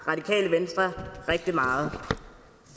radikale venstre rigtig meget